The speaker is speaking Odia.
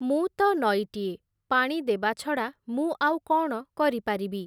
ମୁଁ ତ ନଈଟିଏ, ପାଣି ଦେବା ଛଡ଼ା, ମୁଁ ଆଉ କ’ଣ କରିପାରିବି ।